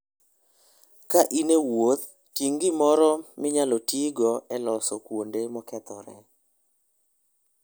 Ka in e wuoth, ting' gimoro matin minyalo tigo e loso kuonde mokethore.